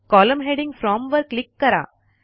column heading from वर click करा